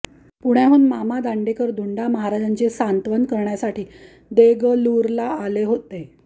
पुण्याहून मामा दांडेकर धुंडा महाराजांचे सांत्वन करण्यासाठी देगलूरला आले होते